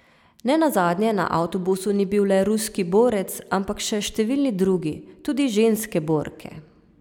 Ne nazadnje na avtobusu ni bil le ruski borec, ampak še številni drugi, tudi ženske borke ...